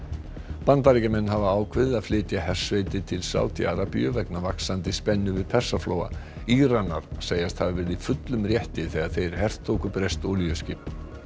Bandaríkjamenn hafa ákveðið að flytja hersveitir til Sádi Arabíu vegna vaxandi spennu við Persaflóa Íranar segjast hafa verið í fullum rétti þegar þeir hertóku breskt olíuskip